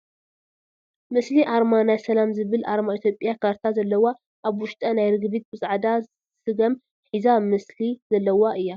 ምስሊ ኣርባ ናይ ሰላም ዝብል ኣርማ ኢትዮጽያ ካርታ ዘለዋ ኣብ ዉሽጣ ናይ ርግቢት ብፃዕዳ ስገም ሒሳ ምስሊ ዜላዋ እያ ።